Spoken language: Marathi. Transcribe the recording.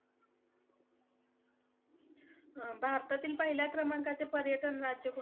भारतातील पहिल्या क्रमांकाचे पर्यटन राज्य कोणते?